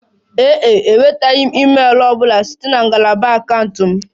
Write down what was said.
Ee e, enwetaghị m email ọ bụla site na ngalaba akaụntụ